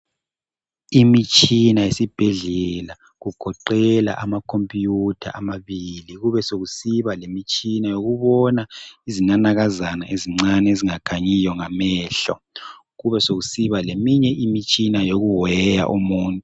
Imitshina yesibhedlela kugoqela ama computer amabili kubesokusiba lemitshina yokubona izinanakazana ezincane ezingakhanyiyo ngamehlo kubesokusiba leminye imitshina yokuweya umuntu.